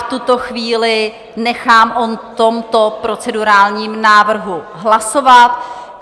V tuto chvíli nechám o tomto procedurálním návrhu hlasovat.